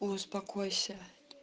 успокойся